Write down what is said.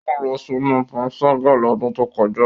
O lọ sinu panṣaga lodun to koja.